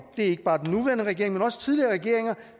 er ikke bare den nuværende regering men også tidligere regeringer